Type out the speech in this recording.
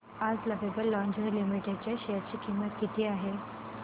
आज Lovable Lingerie Limited च्या share ची किंमत किती आहे